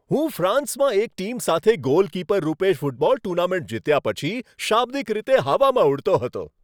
હું ફ્રાન્સમાં એક ટીમ સાથે ગોલકીપર રૂપે ફૂટબોલ ટૂર્નામેન્ટ જીત્યા પછી શાબ્દિક રીતે હવામાં ઉડતો હતો.